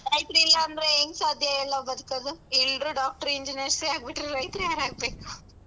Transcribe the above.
ರೈತ್ರ್ ಇಲ್ಲಾಂದ್ರೆ ಹೆಂಗ್ ಸಾಧ್ಯ ಹೇಳು ನಾವ್ ಬದ್ಕೋದು? ಎಲ್ರು doctor, engineers ಎ ಆಗ್ಬಿಟ್ರೆ ರೈತ್ರ್ ಯಾರ್ ಆಗ್ಬೇಕ್?